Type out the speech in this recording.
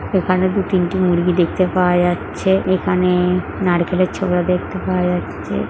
এখানে দুতিনটি মুরগি দেখতে পাওয়া যাচ্ছে এখানে নারকেলের ছবিটা দেখতে পাওয়া যাচ্ছে।